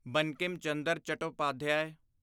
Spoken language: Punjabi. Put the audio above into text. ਬੰਕਿਮ ਚੰਦਰ ਚਟੋਪਾਧਿਆਏ